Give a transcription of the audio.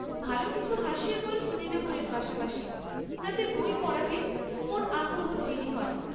ভালো কিছু হাসির বই কিনে দেবো এর পাশাপাশি, যাতে বই পড়াতে ওর আগ্রহ তৈরি হয়।